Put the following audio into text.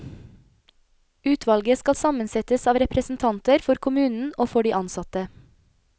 Utvalget skal sammensettes av representanter for kommunen og for de ansatte.